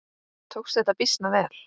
Tókst þetta býsna vel.